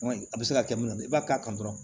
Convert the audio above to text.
A bɛ se ka kɛ mina i b'a k'a kan dɔrɔn